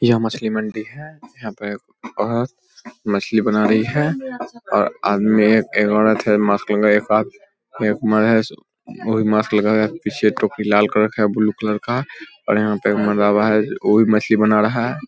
यह मछली मंडी है यहाँ पे एक औरत मछली बना रही है और आदमी एक औरत है मास्क लगाए एक है उ भी मास्क है पिछे टोपी लाल कलर का है बूलू कलर का और यहां पे एक मरलाहबा है उ भी मछली बना रहा है।